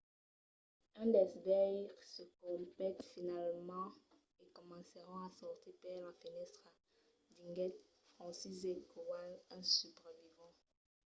un dels veires se copèt finalament e comencèron a sortir per la fenèstra, diguèt franciszek kowal un subrevivent